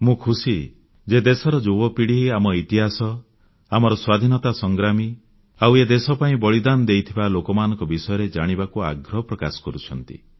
ମୁଁ ଖୁସି ଯେ ଦେଶର ଯୁବପିଢ଼ି ଆମ ଇତିହାସ ଆମର ସ୍ୱାଧୀନତା ସଂଗ୍ରାମୀ ଆଉ ଏ ଦେଶ ପାଇଁ ବଳିଦାନ ଦେଇଥିବା ଲୋକମାନଙ୍କ ବିଷୟରେ ଜାଣିବାକୁ ଆଗ୍ରହ ପ୍ରକାଶ କରୁଛନ୍ତି